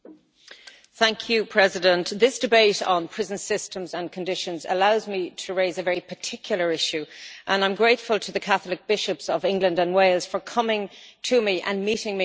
Mr President, this debate on prison systems and conditions allows me to raise a very particular issue, and I am grateful to the Catholic bishops of England and Wales for coming to me and meeting me on this issue.